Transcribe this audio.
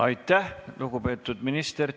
Aitäh, lugupeetud minister!